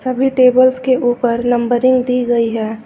सभी टेबल्स के ऊपर नंबरिंग दी गई है।